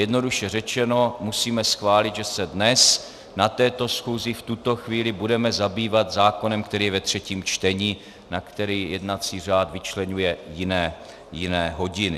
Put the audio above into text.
Jednoduše řečeno, musíme schválit, že se dnes na této schůzi v tuto chvíli budeme zabývat zákonem, který je ve třetím čtení, na který jednací řád vyčleňuje jiné hodiny.